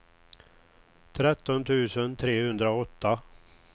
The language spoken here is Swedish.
tretton tusen trehundraåtta